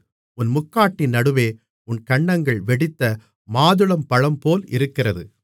உன் முக்காட்டின் நடுவே உன் கன்னங்கள் வெடித்த மாதுளம்பழம்போல் இருக்கிறது